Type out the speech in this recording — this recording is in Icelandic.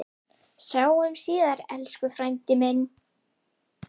Sjáumst síðar, elsku frændi minn.